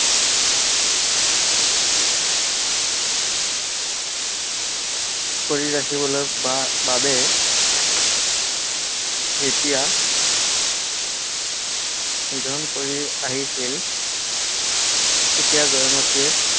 কৰি ৰাখিবলৈ বা~বাবে যেতিয়া নিধন কৰি আহিছিল তেতিয়া জয়মতীয়ে